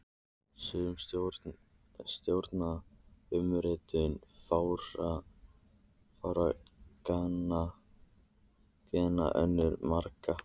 Sum stjórna umritun fárra gena, önnur margra.